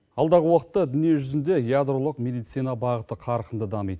алдағы уақытта дүние жүзінде ядролық медицина бағыты қарқынды дамиды